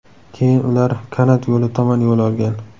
Keyin ular kanat yo‘li tomon yo‘l olgan.